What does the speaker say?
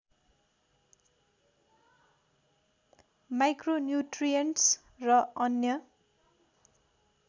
micronutrients र अन्य